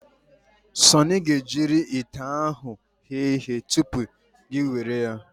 Sunny ga-ejiri ite ahụ ghee ihe tụpụ gị ewere ya.